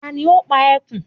Ta ni ó pa ẹkùn?